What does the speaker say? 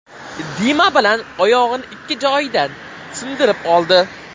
Dima Bilan oyog‘ini ikki joyidan sindirib oldi.